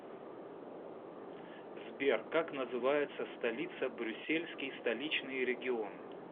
сбер как называется столица брюссельский столичный регион